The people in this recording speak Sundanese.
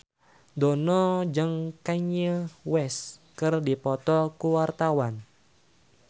Dono jeung Kanye West keur dipoto ku wartawan